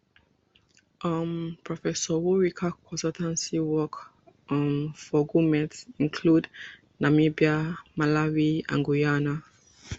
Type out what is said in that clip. um professor worika consultancy work um for goment include namibia malawi and guyana